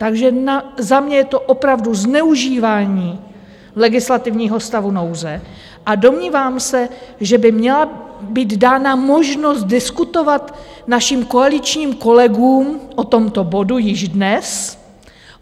Takže za mě je to opravdu zneužívání legislativního stavu nouze a domnívám se, že by měla být dána možnost diskutovat našim koaličním kolegům o tomto bodu již dnes.